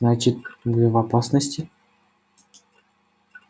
значит вы в опасности